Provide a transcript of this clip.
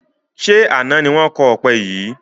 Ṣé àna ni wọn kọ ọpẹ yìí?